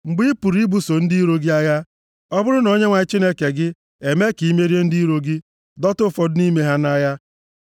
Mgbe ị pụrụ ibuso ndị iro gị agha, ọ bụrụ na Onyenwe anyị Chineke gị emee ka i merie ndị iro gị, dọta ụfọdụ nʼime ha nʼagha,